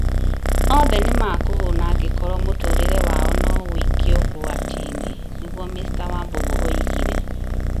othe nĩ makũhuna angĩkorwo mũtũũrĩre wao no wikio ũgwati-inĩ. Nĩguo Mr Wambugu oigire.